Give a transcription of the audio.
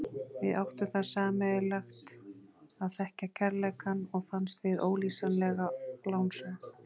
Við áttum það sameiginlegt að þekkja kærleikann og fannst við ólýsanlega lánsöm.